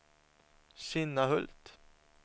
Kinnahult